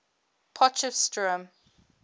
potchefstroom